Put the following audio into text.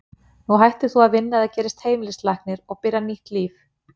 Nú hættir þú að vinna, eða gerist heimilislæknir, og byrjar nýtt líf.